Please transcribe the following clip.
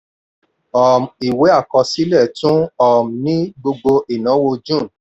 um ìwé àkọsílẹ̀ tún um ní gbogbo ináwó june.